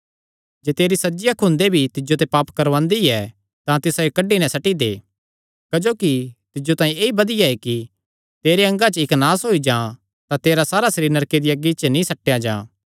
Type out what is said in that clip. जे तेरी सज्जी अख हुंदे भी तिज्जो ते पाप करवांदी ऐ तां तिसायो कड्डी नैं सट्टी दे क्जोकि तिज्जो तांई ऐई बधिया ऐ कि तेरे अंगा च इक्क नास होई जां तां तेरा सारा सरीर नरके दिया अग्गी च नीं सट्टेया जां